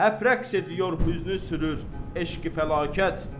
Həp rəqs ediyor hüzn-ü-sürür, eşq-i-fəlakət.